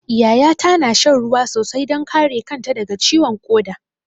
Yaya ta na shan ruwa sosai don kare kanta daga ciwon ƙoda.